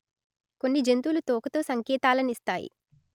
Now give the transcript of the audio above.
కొన్ని జంతువులు తోకతో సంకేతాలనిస్తాయి